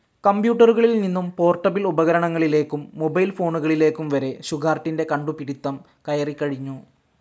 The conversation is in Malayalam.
കമ്പ്യൂട്ടറുകളിൽ നിന്നും പോർട്ടബിൾ ഉപകരണങ്ങളിലേക്കും മൊബൈൽ ഫോണുകളിലേക്കും വരെ ഷുഗാർട്ടിൻറെ കണ്ടുപിടിത്തം കയറികഴിഞ്ഞു.